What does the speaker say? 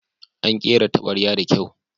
An kera tabarya da kyau.